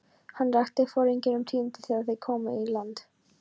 Hann rakti foringjunum tíðindin þegar þeir komu í land.